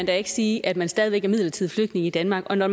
da ikke sige at man stadig væk er midlertidig flygtning i danmark og når